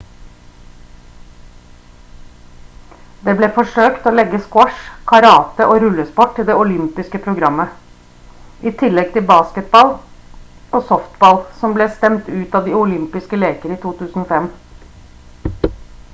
det ble forsøkt å legge squash karate og rullesport til det olympiske programmet i tillegg til baseball og softball som ble stemt ut av de olympiske leker i 2005